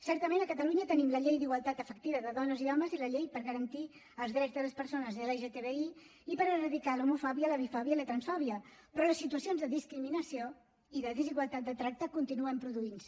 certament a catalunya tenim la llei d’igualtat efectiva de dones i homes i la llei per garantir els drets de les persones lgtbi i per erradicar l’homofòbia la bifòbia i la transfòbia però les situacions de discriminació i de desigualtat de tracte continuen produint se